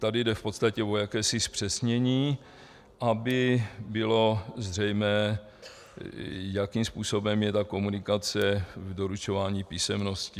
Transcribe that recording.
Tady jde v podstatě o jakési zpřesnění, aby bylo zřejmé, jakým způsobem je ta komunikace v doručování písemností.